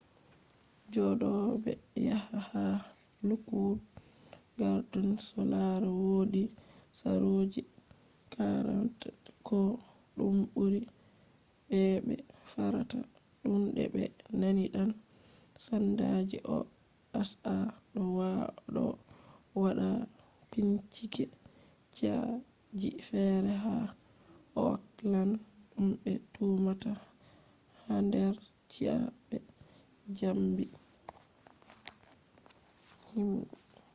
jodobe haya ha lookwood gardens do lara wodi saroji 40 ko dum buri be'be fartata tunde be nani dan-sandaji oha do wada bincike ci'a ji fere ha oakland dum be tumata hader ci'a be zambi himbe